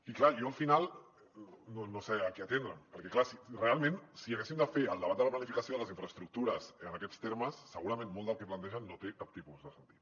i clar jo al final no sé a què atendre’m perquè realment si haguéssim de fer el debat de la planificació de les infraestructures en aquests termes segurament molt del que plantegen no té cap tipus de sentit